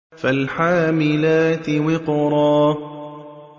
فَالْحَامِلَاتِ وِقْرًا